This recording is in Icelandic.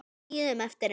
Við bíðum eftir henni